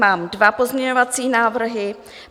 Mám dva pozměňovací návrhy.